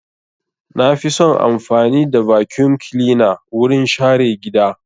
Na fi son amfani da vacuum cleaner wurin share gida.